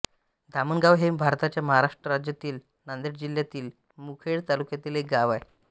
धामणगाव हे भारताच्या महाराष्ट्र राज्यातील नांदेड जिल्ह्यातील मुखेड तालुक्यातील एक गाव आहे